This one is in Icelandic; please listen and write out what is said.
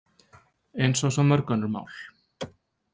Eins og svo mörg önnur mál.